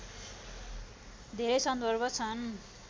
धेरै सन्दर्भ छन्